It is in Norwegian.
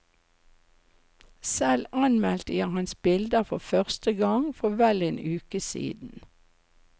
Selv anmeldte jeg hans bilder for første gang for vel en uke siden.